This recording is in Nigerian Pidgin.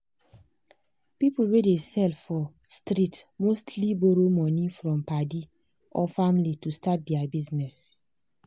people wey dey sell for street mostly borrow money from padi or family to start their business.